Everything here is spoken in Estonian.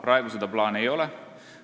Praegu seda plaani ei ole.